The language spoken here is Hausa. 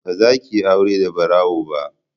Ba za ki yi aure da barawo ba!